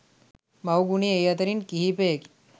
මව් ගුණය ඒ අතරින් කිහිපයකි